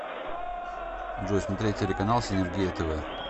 джой смотреть телеканал синергия тв